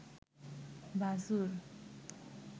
ভাসুর